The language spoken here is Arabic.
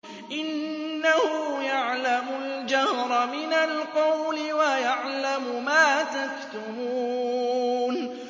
إِنَّهُ يَعْلَمُ الْجَهْرَ مِنَ الْقَوْلِ وَيَعْلَمُ مَا تَكْتُمُونَ